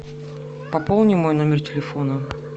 пополни мой номер телефона